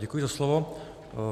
Děkuji za slovo.